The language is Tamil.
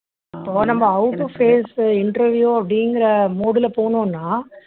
இப்போ நம்ப how to face interview அப்படிங்கிற mood ல போனோம்னா